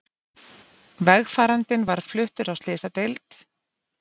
Vegfarandinn var fluttur á slysadeild